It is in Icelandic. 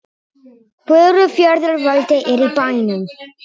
Furufjarðar-Valdi er í bænum.